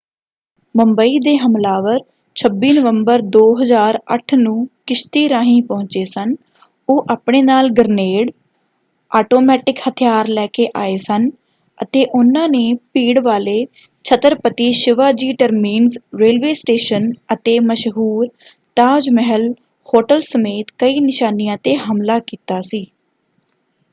ਮੁੰਬਈ ਦੇ ਹਮਲਾਵਰ 26 ਨਵੰਬਰ 2008 ਨੂੰ ਕਿਸ਼ਤੀ ਰਾਹੀਂ ਪਹੁੰਚੇ ਸਨ ਉਹ ਆਪਣੇ ਨਾਲ ਗ੍ਰਨੇਡ ਆਟੋਮੈਟਿਕ ਹਥਿਆਰ ਲੈ ਕੇ ਆਏ ਸਨ ਅਤੇ ਉਹਨਾਂ ਨੇ ਭੀੜ ਵਾਲੇ Chhatrapati Shivaji terminus railway station ਅਤੇ ਮਸ਼ਹੂਰ ਤਾਜ ਮਹਿਲ ਹੋਟਲ ਸਮੇਤ ਕਈ ਨਿਸ਼ਾਨਿਆਂ 'ਤੇ ਹਮਲਾ ਕੀਤਾ ਸੀ।